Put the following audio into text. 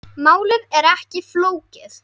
Málið er ekki flókið.